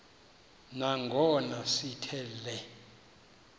nangona sithi le